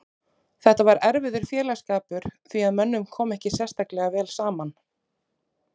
Þetta var erfiður félagsskapur því að mönnum kom ekki sérstaklega vel saman.